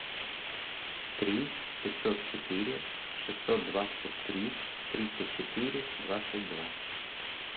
три пятьсот четыре шестьсот двадцать три тридцать четыре двадцать два